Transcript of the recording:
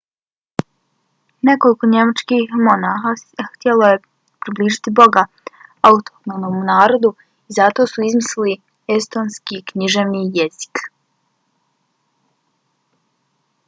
nekoliko njemačkih monasha htjelo je približiti boga autohtonom narodu i zato su izmislili estonski književni jezik